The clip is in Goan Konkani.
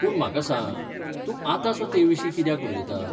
पूण म्हाका सांग, तूं आतांसो तेविशीं कित्याक उलयता ?